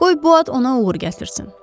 Qoy bu ad ona uğur gətirsin.